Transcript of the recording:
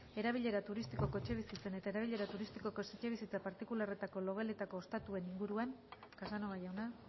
erabilera turistikoko etxebizitzen eta erabilera turistikoko etxebizitza partikularretako logeletako ostatuen inguruan casanova jauna